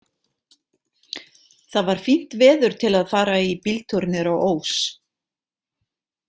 Það var fínt veður til að fara í bíltúr niður á Ós.